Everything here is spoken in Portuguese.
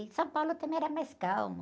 E São Paulo também era mais calmo.